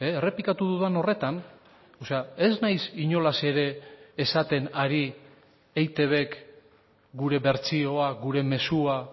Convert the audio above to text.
errepikatu dudan horretan ez naiz inolaz ere esaten ari eitbk gure bertsioa gure mezua